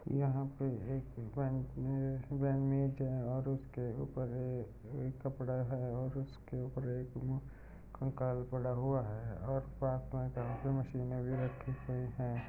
यहाँ पे एक और उसके ऊपर एक कपड़ा है और उसके ऊपर एक कंकाल पड़ा हुआ है और साथ में काम की मशीन भी रखी हुई हैं।